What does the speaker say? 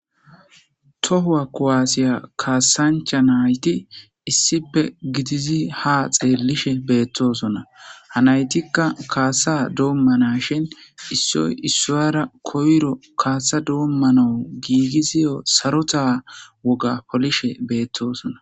Tohuwa kowaasiya kaasancha nayti issipe gidizi ha xeellishe beettosona hanaytikka kaasa doommana shin issoy issoyara koyro kaasa doommanawu giigiziyo sarota woga polishe beettosona.